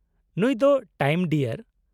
ᱱᱩᱭ ᱫᱚ ᱴᱟᱭᱤᱢ ᱰᱤᱭᱟᱨ ᱾